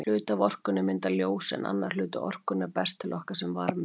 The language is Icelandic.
Hluti af orkunni myndar ljós en annar hluti orkunnar berst til okkar sem varmi.